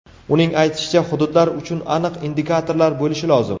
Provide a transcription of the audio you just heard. Uning aytishicha, hududlar uchun aniq indikatorlar bo‘lishi lozim.